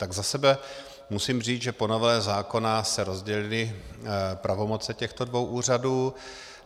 Tak za sebe musím říct, že po novele zákona se rozdělily pravomoce těchto dvou úřadů.